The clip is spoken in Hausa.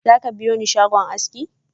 Zaka biyoni shagon aski?